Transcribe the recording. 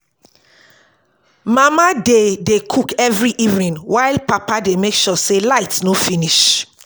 Mama dey dey cook every evening, while Papa dey make sure say light no finish.